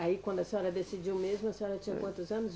Aí, quando a senhora decidiu mesmo, a senhora tinha quantos anos?